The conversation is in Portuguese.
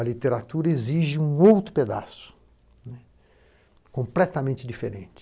A literatura exige um outro pedaço, completamente diferente.